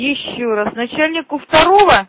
ещё раз начальнику второго